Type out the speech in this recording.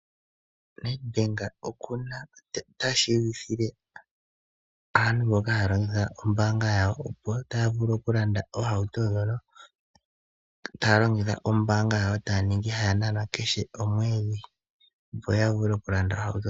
Nedbank ota tseyithile aantu mboka haya longitha ombaanga yawo kutya otaa vulu okulanda ohauto taya longitha ombaanga yawo taya kala haya nanwa kehe komwedhi, opo ya vule okulanda ohauto.